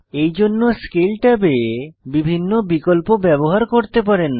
এই জন্য স্কেল ট্যাবে বিভিন্ন বিকল্প ব্যবহার করতে পারেন